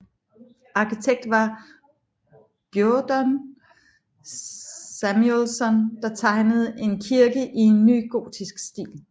Arkitekt var Guðjón Samúelsson der tegnede en kirke i nygotisk stil